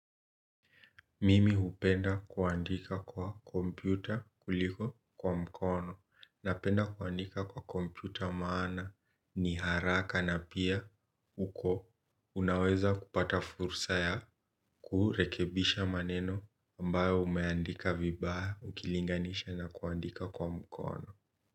Mimi hupenda kuandika kwa kompyuta kuliko kwa mkono napenda kuandika kwa kompyuta maana ni haraka na pia huko unaweza kupata fursa ya kurekebisha maneno ambayo umeandika vibaya ukilinganisha na kuandika kwa mkono.